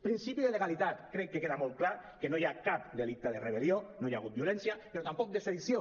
principi de legalitat crec que queda molt clar que no hi ha cap delicte de rebellió no hi ha hagut violència però tampoc de sedició